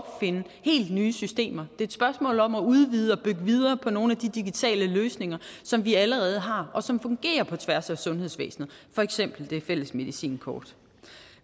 finde helt nye systemer det et spørgsmål om at udvide og bygge videre på nogle af de digitale løsninger som vi allerede har og som fungerer på tværs af sundhedsvæsenet for eksempel det fælles medicinkort